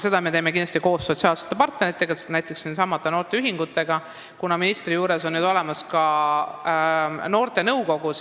Seda me teeme kindlasti koos sotsiaalsete partneritega, näiteks nendesamade noorteühingutega, kuna ministri juures on nüüd olemas ka Noorte Nõukogu.